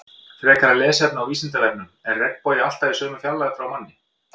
Frekara lesefni á Vísindavefnum: Er regnbogi alltaf í sömu fjarlægð frá manni?